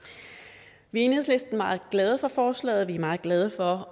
vi er i enhedslisten meget glade for forslaget er meget glade for